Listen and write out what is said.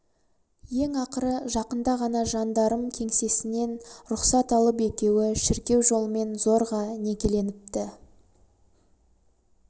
ең ақыры жақында ғана жандарм кеңсесінен рұқсат алып екеуі шіркеу жолымен зорға некеленіпті